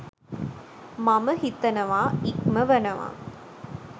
මම හිතනවා ඉක්මවනවා.